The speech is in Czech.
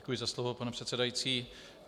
Děkuji za slovo, pane předsedající.